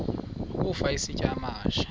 ukafa isitya amahashe